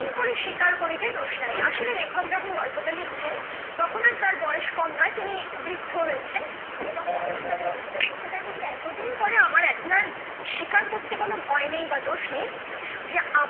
পরে স্বীকার করিতে দোষ নাই আসলে লেখক যখন গল্পটা লিখছেন তখন আর তার বয়স কম নয় তিনি বৃদ্ধ হয়েছেন এবং বয়সকালে গল্পটা লিখছেন তাই বলতে এতদিন পরে আমার একলার স্বীকার করতে কোন ভয় নেই বা দোষ নেই যে